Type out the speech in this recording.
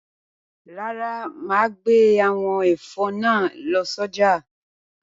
Rárá, màá gbé àwọn ẹ̀fọ́ náà lọ sọ́jà.